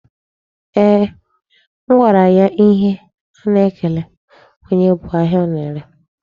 Eeh, m gwara ya ihe a na-ekele onye bu ahịa ọ na-ere.